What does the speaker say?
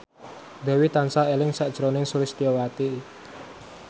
Dewi tansah eling sakjroning Sulistyowati